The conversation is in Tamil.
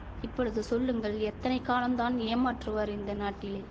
இப்பொழுது சொல்லுங்கள் எத்தனை காலந்தான் ஏமாற்றுவார் இந்த நாட்டிலே